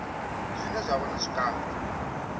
zwine zwa vha na zwikambi